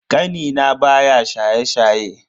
Kanina baya shaye-shaye.